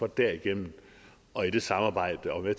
derigennem og i det samarbejde at være